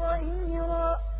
ظَهِيرًا